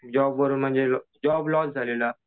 जॉबवरून म्हणजे job loss झालेला.